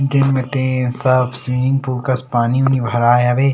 दिन में तीन साफ स्विमिंग पूल कस पानी उनी भराए हवे।